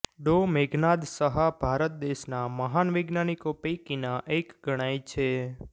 ડો મેઘનાદ સહા ભારત દેશના મહાન વૈજ્ઞાનિકો પૈકીના એક ગણાય છે